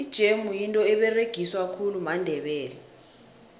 ijemu yinto eberegiswa khulu mandebele